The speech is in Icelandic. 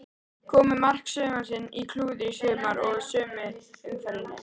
Komu mark sumarsins og klúður sumarsins í sömu umferðinni?